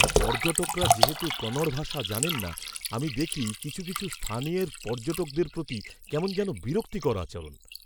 পর্যটকরা যেহেতু কনড় ভাষা জানেন না, আমি দেখি কিছু কিছু স্থানীয়ের পর্যটকদের প্রতি কেমন যেন বিরক্তিকর আচরণ।